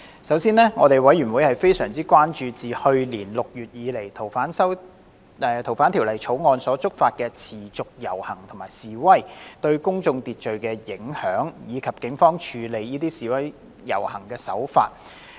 首先，事務委員會非常關注自去年6月以來，因修訂《逃犯條例》而觸發的持續遊行和示威活動，對公共秩序造成的影響，以及警方處理這些示威遊行的手法。